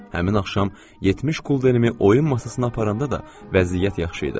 Həmin axşam 70 qulderimi oyun masasına aparanda da vəziyyət yaxşı idi.